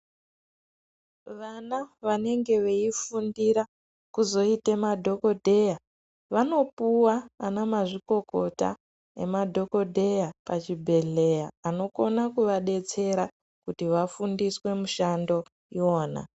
Vana vanenge veifundira kuzoita madhokodheya vanopuwa ana mazvikokota nemadhokodheya pazvibhedhlera unokona kuvadetsera kuti vafundiswe mishando iyona.